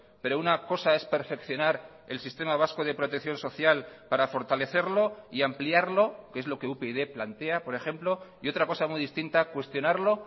pero una cosa es perfeccionar el sistema vasco de protección social para fortalecerlo y ampliarlo que es lo que upyd plantea por ejemplo y otra cosa muy distinta cuestionarlo